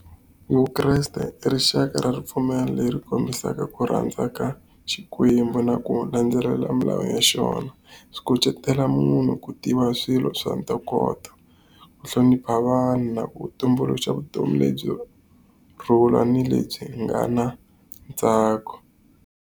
Vukreste i rixaka ra ripfumelo leri kombisaka ku rhandza ka Xikwembu na ku landzelela milawu ya xona. Swi kucetela munhu ku tiva swilo swa ntokoto, ku hlonipha vanhu, na ku tumbuluxa vutomi lebyi rhula ni lebyi nga na ntsako.